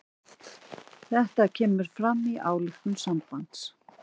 Þetta kemur fram í ályktun sambandsins